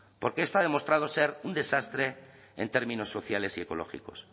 porque esto ha demostrado ser un desastre en términos sociales y ecológicos